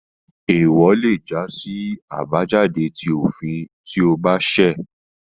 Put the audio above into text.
Eewọ lé já sí àbájáde ti òfin tí o ba ṣẹ